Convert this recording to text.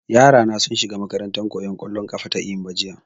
Yara na sun shiga makarantan koyan ƙwallon ƙafa ta Eyimba jiya